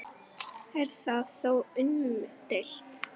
Er það þó umdeilt